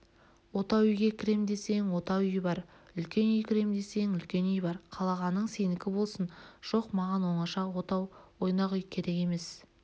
отау үйге кірем десең отау үй бар үлкен үйге кірем десең үлкен үй бар қалағаның сенікі болсын жоқ маған оңаша отау ойнақ үй керек емес